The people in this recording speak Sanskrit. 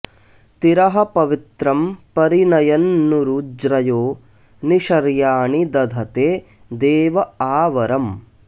तिरः पवित्रं परियन्नुरु ज्रयो नि शर्याणि दधते देव आ वरम्